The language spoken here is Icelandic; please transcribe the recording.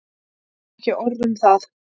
Ekki orð um það.